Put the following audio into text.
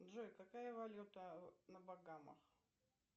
джой какая валюта на багамах